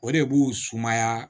O de b'u sumaya